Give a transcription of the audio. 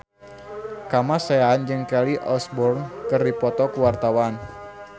Kamasean jeung Kelly Osbourne keur dipoto ku wartawan